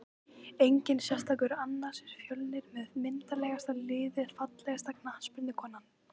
Enginn sérstakur annars er fjölnir með myndarlegasta liðið Fallegasta knattspyrnukonan?